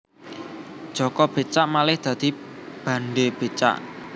Jaka Becak malih dadi Bandhe Becak